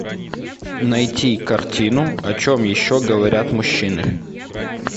найти картину о чем еще говорят мужчины